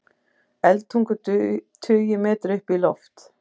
Eldtungur tugi metra upp í loft